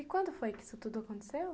E quando foi que isso tudo aconteceu?